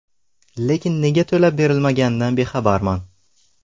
Lekin nega to‘lab berilmaganidan bexabarman.